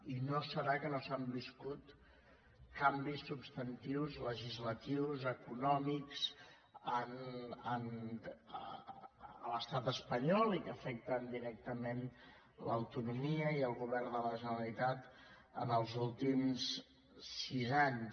i no deu ser perquè no s’han viscut canvis substantius legislatius econòmics a l’estat espanyol i que afecten directament l’autonomia i el govern de la generalitat en els últims sis anys